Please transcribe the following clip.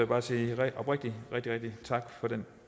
bare sige oprigtigt tak for den